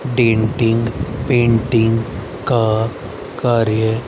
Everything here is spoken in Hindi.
डेंटिंग पेंटिंग का कार्य--